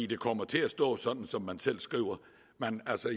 det kommer til at stå sådan som man selv skriver